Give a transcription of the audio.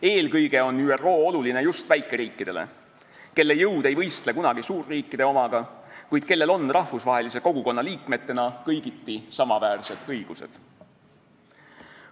Eelkõige on ÜRO oluline just väikeriikidele, kelle jõud ei võistle kunagi suurriikide omaga, kuid kellel on rahvusvahelise kogukonna liikmetena kõigiti samaväärsed õigused.